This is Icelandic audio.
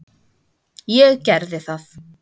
Ég gerði það.